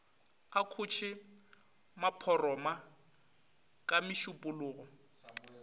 a khoše maphoroma ka mešupologo